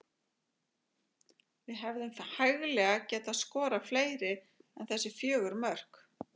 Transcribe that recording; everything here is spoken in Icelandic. Við hefðum hæglega getað skorað fleiri en þessi fjögur mörk.